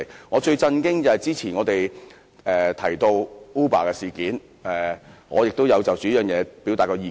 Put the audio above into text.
我最為震驚的是我們之前提到的 Uber 事件，我也曾就這議題發表意見。